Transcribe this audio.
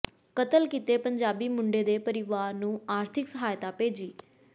ਕਤਲ ਕੀਤੇ ਪੰਜਾਬੀ ਮੁੰਡੇ ਦੇ ਪਰਿਵਾਰ ਨੂੰ ਆਰਥਿਕ ਸਹਾਇਤਾ ਭੇਜੀ